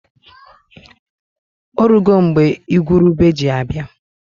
Orugo mgbe igwurube ji abịa.